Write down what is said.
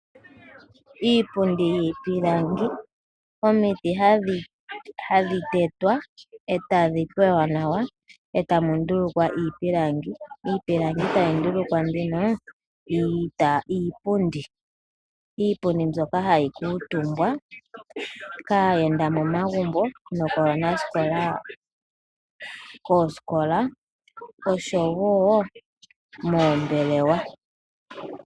Iipundi yiipilangi, omiti hadhi tetwa e tadhi kweywa nawa e tamu ndulukwa iipilangi, iipilangi tayi ndulukwa nduno iipundi. Iipundi mbyoka hayi kuutumbwa kaayenda momagumbo nokaanasikola koosikola osho wo moombelewa.